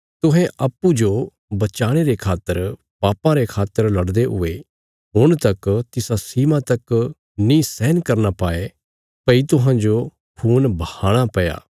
तुहें अप्पूँजो बचाणे रे खातर पापा रे खिलाफ लड़दे हुये हुण तक तिसा सीमा तक नीं सहन करना पैया भई तुहांजो खून बहाणा पया